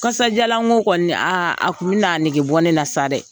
Kasajalan ŋo kɔni aa a tun bɛn'a negebɔ ne la sa dɛ.